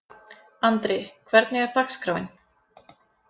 Andri, hvernig er dagskráin?